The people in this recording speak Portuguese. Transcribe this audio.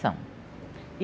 São.